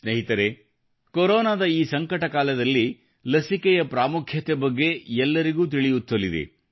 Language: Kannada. ಸ್ನೇಹಿತರೆ ಕೊರೋನಾದ ಈ ಸಂಕಟ ಕಾಲದಲ್ಲಿ ಲಸಿಕೆಯ ಪ್ರಾಮುಖ್ಯತೆ ಬಗೆಗೆ ಎಲ್ಲರಿಗೂ ತಿಳಿಯುತ್ತಿದೆ